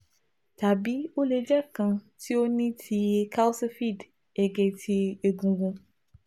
tabi o le jẹ kan ti o ni ti kalsified ege ti egungun